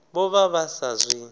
vho vha vha sa zwi